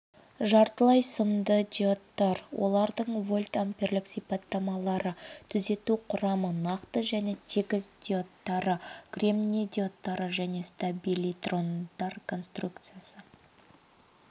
жартылай сымды диодтар олардың вольтамперлік сипаттамалары түзету құрамы нақты және тегіс диодтары кремни диодтары және стабилитрондар конструкциясы